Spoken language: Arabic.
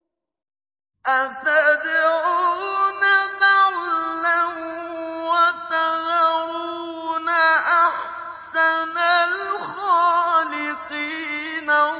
أَتَدْعُونَ بَعْلًا وَتَذَرُونَ أَحْسَنَ الْخَالِقِينَ